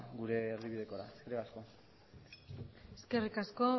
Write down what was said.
gure erdibidekora eskerrik asko eskerrik asko